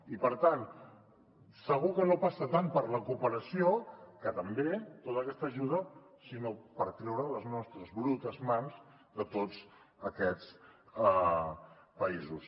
i per tant segur que no passa tant per la cooperació que també tota aquesta ajuda sinó per treure les nostres brutes mans de tots aquests països